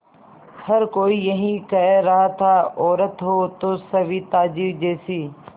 हर कोई यही कह रहा था औरत हो तो सविताजी जैसी